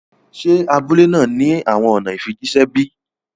Ṣé abúlẹ̀ náà ni awọn ọ̀nà ìfíjìṣẹ̀ bí?